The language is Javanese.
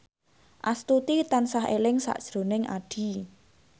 Astuti tansah eling sakjroning Addie